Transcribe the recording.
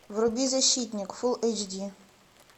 вруби защитник фул эйч ди